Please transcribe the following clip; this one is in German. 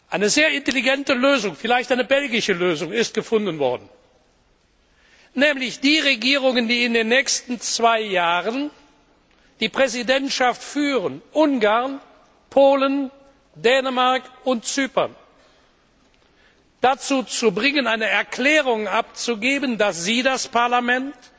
Eine sehr intelligente Lösung vielleicht eine belgische Lösung ist gefunden worden, nämlich die Regierungen, die in den nächsten zwei Jahren die Präsidentschaft führen Ungarn, Polen, Dänemark und Zypern dazu zu bringen, eine Erklärung abzugeben, dass sie das Parlament